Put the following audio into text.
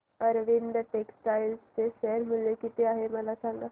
Arvind textile चे share मूल्य किती आहे मला सांगा